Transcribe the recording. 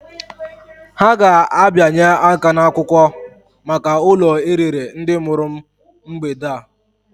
Ha ga-abịanye aka n'akwụkwọ maka ụlọ e rere ndị mụrụ m mgbede a.